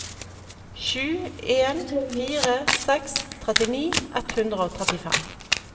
sju en fire seks trettini ett hundre og trettifem